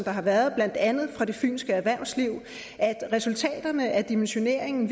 har været blandt andet fra det fynske erhvervsliv altså at resultaterne af dimensioneringen